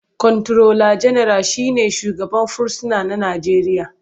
Kwanturola General shi ne shugaban fursuna na Najeriya.